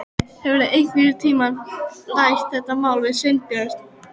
Hefurðu einhvern tíma rætt þetta mál við Sveinbjörn?